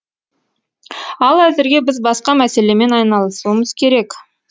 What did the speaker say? ал әзірге біз басқа мәселемен айналысуымыз керек